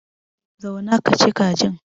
Zauna kaci kajin.